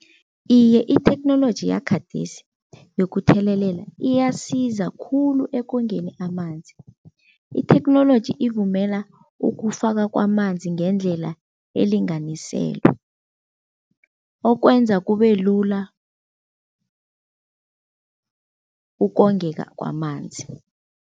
Iye, itheknoloji yakhadesi yokuthelelela iyasiza khulu ekongeni amanzi. Itheknoloji ivumela ukufaka kwamanzi ngendlela elinganiselwe, okwenza kube lula ukongeka kwamanzi.